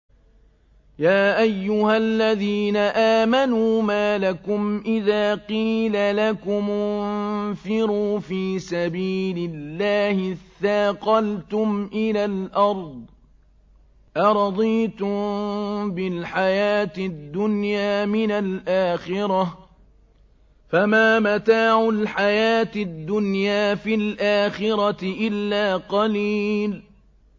يَا أَيُّهَا الَّذِينَ آمَنُوا مَا لَكُمْ إِذَا قِيلَ لَكُمُ انفِرُوا فِي سَبِيلِ اللَّهِ اثَّاقَلْتُمْ إِلَى الْأَرْضِ ۚ أَرَضِيتُم بِالْحَيَاةِ الدُّنْيَا مِنَ الْآخِرَةِ ۚ فَمَا مَتَاعُ الْحَيَاةِ الدُّنْيَا فِي الْآخِرَةِ إِلَّا قَلِيلٌ